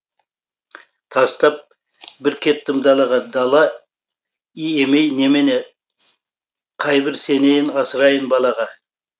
тастап бір кеттім далаға дала емей немене қайбір сенейін асырайын балаға